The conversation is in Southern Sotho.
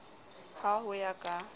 c ha ho ya ka